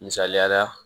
Misaliyala